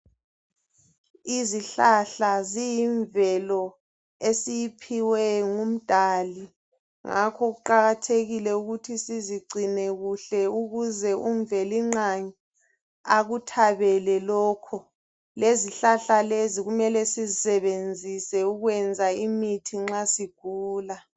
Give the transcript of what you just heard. Izihlahla ziyimvelo esiyiphiwe ngumdali ngakho kuqakathekile ukuthi sizigcine kuhle ukuze umvelinqangi akuthabele lokho lezihlahla lezi kumele sizisebenzise ukwenza imithi nxa sigula